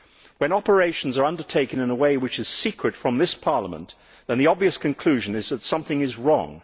When operations are undertaken in a way which is secret from this Parliament, then the obvious conclusion is that something is wrong.